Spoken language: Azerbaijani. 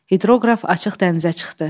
Hidroqraf açıq dənizə çıxdı.